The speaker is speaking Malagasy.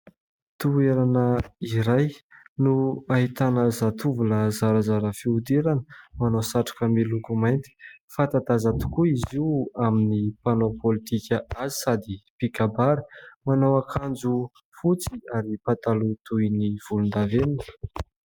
Toerana iray no ahitana zatovo lahy zarazara fihodirana manao satroka miloko mainty. Fantadaza tokoa izy io amin'ny mpanao politika azy sady mpikabary. Manao akanjo fotsy ary pataloha toy ny volondavenina.